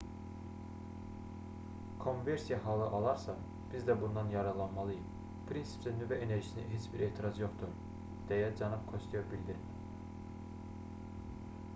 kommversiya halı alarsa biz də bundan yararlanmalıyıq prinsipcə nüvə enerjisinə heç bir etiraz yoxdur deyə cənab kosteyo bildirib